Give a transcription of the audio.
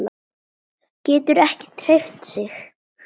Getur ekki hreyft sig.